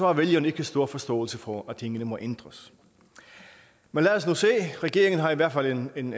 har vælgerne ikke stor forståelse for at tingene må ændres men lad os nu se regeringen har i hvert fald en en